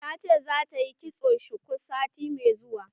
Ta ce za ta yi kitson shuku sati mai zuwa.